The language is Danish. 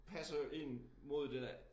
Passer ind mod det der